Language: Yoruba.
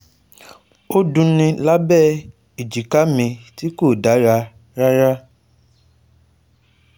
Ó dunni lábẹ́ abẹ èjìká mi tí kò dára rárá